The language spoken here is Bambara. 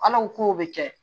k'o bɛ kɛ